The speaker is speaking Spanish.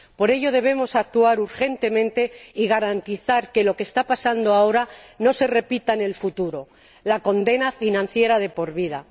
Por ello, debemos actuar urgentemente y garantizar que lo que está pasando ahora no se repita en el futuro la condena financiera de por vida.